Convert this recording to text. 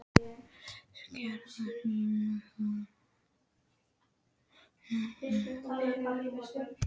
Garðyrkjuskólinn hóf tilraunir með papriku um